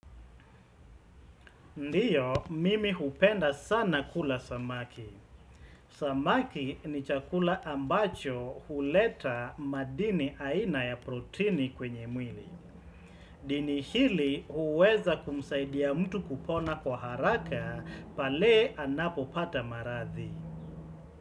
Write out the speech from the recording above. Ndiyo, mimi hupenda sana kula samaki. Samaki ni chakula ambacho huleta madini aina ya protini kwenye mwili. Dini hili uweza kumsaidia mtu kupona kwa haraka pale anapo pata maradhi.